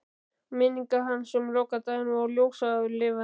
Og minningar hans um lokadaginn voru ljóslifandi.